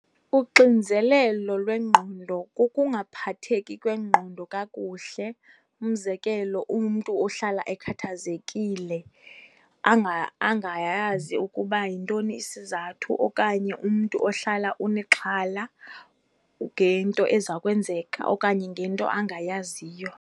Uxinzelelo lwengqondo kukungaphatheki kwengqondo kakuhle. Umzekelo, umntu ohlala ekhathazekile angayazi ukuba yintoni isizathu, okanye umntu ohlala unexhala ngento ezawukwenzeka okanye ngento angayaziyo.